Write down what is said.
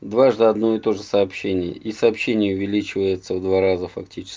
дважды одно и то же сообщение и сообщение увеличивается в два раза фактически